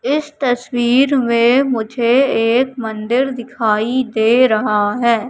इस तस्वीर में मुझे एक मंदिर दिखाई दे रहा हैं।